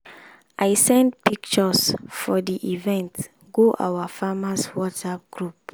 i send pictures for di event go our farmers whatsapp group.